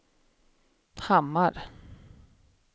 Hammar